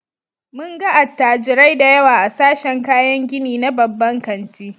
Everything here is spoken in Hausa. Mun ga attajirai da yawa a sashen kayan gini na babban kanti.